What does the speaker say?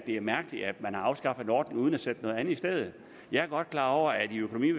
er mærkeligt at man har afskaffet en ordning uden at sætte noget andet i stedet jeg er godt klar over at økonomi